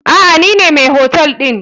Aa nine mai hotel ɗin.